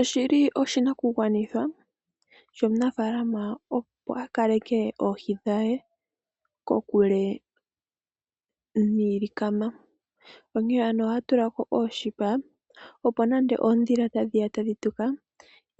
Oshili oshinakugwanithwa, shomunafaalama opo akaleke oohi dhaye kokule niilikama. Onkene aantu ohaya tulako ooshipa, opo nande oondhila tandhiya tadhi tuka,